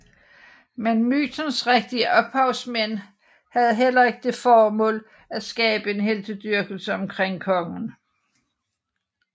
Men mytens rigtige ophavsmænd havde heller ikke det mål at skabe en heltedyrkelse omkring kongen